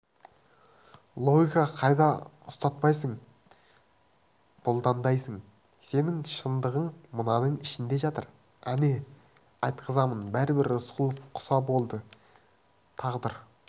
логика қайда ұстатпайсың бұландайсың сенің шындығың мынаның ішінде жатыр әне айтқызамын бәрібір рысқұлов құса болды тағдыр